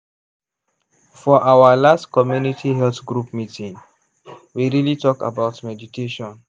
for our last community health group meeting we really talk about meditation.